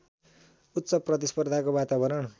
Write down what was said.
उच्च प्रतिस्पर्धाको वातावरण